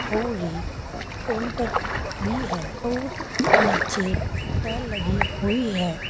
और एक काउंटर भी है और नीचे टाइल लगी हुई है।